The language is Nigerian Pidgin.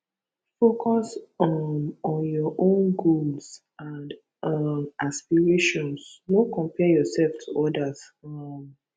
focus um on youir own goals and um aspirations no compare yourself to others um